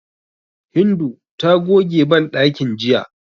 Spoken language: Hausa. Hindu ta goge banɗakin jiya.